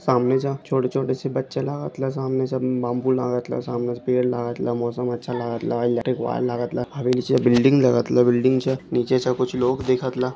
सामने से छोटे-छोटे बच्चे लगतल. सामनेसे बाम्बू लगतल. सामनेसे पेड़ लागत मौसम अच्छा लगतल. या इलैक्ट्रिक वायर लगतला. हमे नीचे बिल्डिंग लागतल. बिल्डिंग च्या नीचेसे कुछ लोग दिखतल--